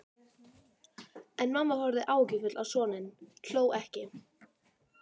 En mamma horfði áhyggjufull á soninn, hló ekki.